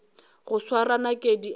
go swara nakedi ka diatla